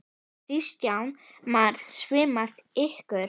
Kristján Már: Svimaði ykkur?